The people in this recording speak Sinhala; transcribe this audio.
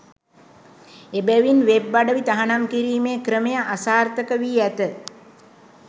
එබැවින් වෙබ් අඩවි තහනම් කිරීමේ ක්‍රමය අසාර්ථකවී ඇත